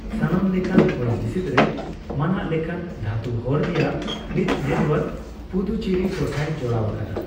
ᱥᱟᱱᱟᱢ ᱞᱮᱠᱟᱱ ᱦᱚᱭᱦᱤᱥᱤᱫ ᱨᱮ ᱢᱟᱱᱟᱜ ᱞᱮᱠᱟᱱ ᱫᱷᱟᱹᱛᱩ ᱦᱚᱨ ᱨᱮᱭᱟᱜ ᱢᱤᱫ ᱱᱮᱴᱳᱣᱟᱨᱠ ᱯᱩᱫᱩᱪᱮᱨᱤ ᱴᱚᱴᱷᱟᱭ ᱡᱚᱲᱟᱣ ᱟᱠᱟᱫᱟ ᱾